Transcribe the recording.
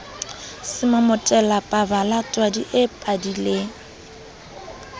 semomotela pabala twadi e padileng